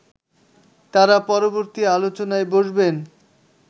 তারা পরবর্তী আলোচনায় বসবেন